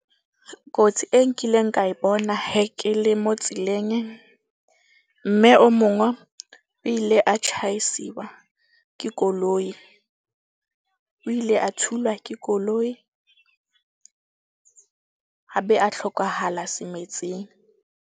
Kotsi e nkileng ka e bona he ke le mo tseleng. Mme o mongwe o ile a tjhaisiwa ke koloi. O ile a thulwa ke koloi a be a tlhokahala .